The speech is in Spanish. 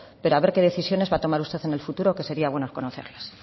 pero a ver qué decisiones va a tomar usted en el futuro que sería bueno conocerlas